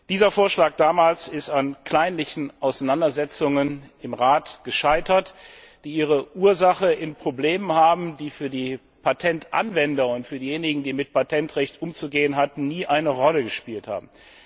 Dieser Vorschlag ist damals an kleinlichen Auseinandersetzungen im Rat gescheitert, die ihre Ursache in Problemen haben, die für die Patentanwender und für diejenigen, die mit Patentrecht umzugehen hatten, nie eine Rolle gespielt haben.